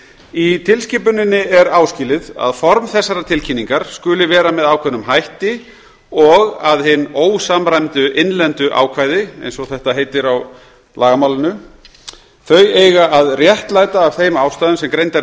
í tilskipuninni er áskilið að form þessarar tilkynningar skuli vera með ákveðnum hætti og að hin ósamræmdu innlendu ákvæði eins og þetta heitir á lagamálinu þau eiga að réttlæta af þeim ástæðum sem greindar